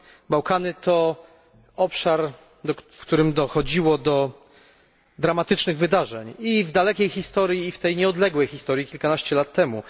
Bałkany to obszar, w którym dochodziło do dramatycznych wydarzeń i w dalekiej historii, i w tej bliższej, kilkanaście lat temu.